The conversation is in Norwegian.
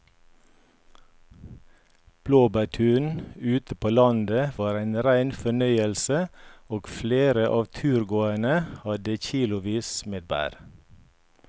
Blåbærturen ute på landet var en rein fornøyelse og flere av turgåerene hadde kilosvis med bær.